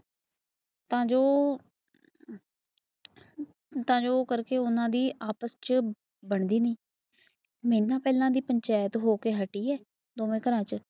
ਜੋ ਤਾਂ ਜੋ ਕਰਕੇ ਓਹਨਾ ਦੀ ਆਪਸ ਚ ਬਣਦੀ ਨੀ ਐਨਾ ਪਹਿਲਾਂ ਦੀ ਪੰਚਾਇਤ ਹੋਕੇ ਹਟੀ ਐ ਦੋਨਾਂ ਘਰਾਂ ਚ